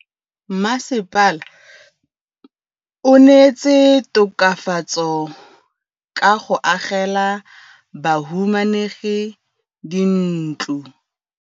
Mmasepala o neetse tokafatsô ka go agela bahumanegi dintlo.